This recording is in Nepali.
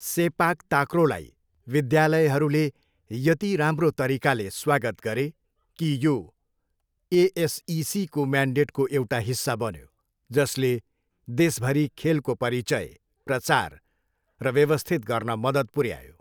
सेपाक ताक्रोलाई विद्यालयहरूले यति राम्रो तरिकाले स्वागत गरे कि यो एएसइसीको म्यान्डेटको एउटा हिस्सा बन्यो जसले देशभरि खेलको परिचय, प्रचार र व्यवस्थित गर्न मद्दत पुऱ्यायो।